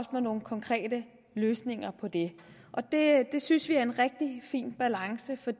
med nogle konkrete løsninger på det det synes vi er en rigtig fin balance for